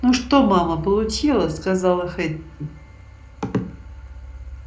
ну что мама получила сказала хэтти